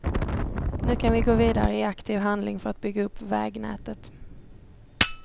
Nu kan vi gå vidare i aktiv handling för att bygga upp vägnätet.